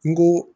N go